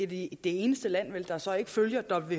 det eneste land der så ikke følger